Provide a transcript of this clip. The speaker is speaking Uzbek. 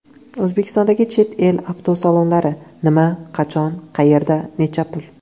O‘zbekistondagi chet el avtosalonlari: nima, qachon, qayerda, necha pul?.